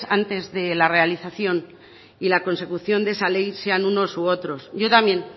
antes de la realización y la consecución de esa ley sean unos u otros yo también